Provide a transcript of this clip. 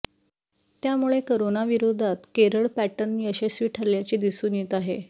त्यामुळे करोनाविरोधात केरळ पॅटर्न यशस्वी ठरल्याचे दिसून येत आहे